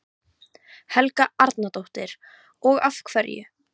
Helga Arnardóttir: Og af hverju?